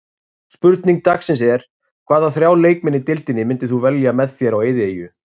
Spurning dagsins er: Hvaða þrjá leikmenn í deildinni myndir þú velja með þér á eyðieyju?